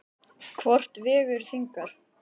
Hvort vegur þyngra?